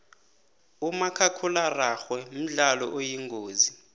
umakhakhulararhwe mdlalo oyingozi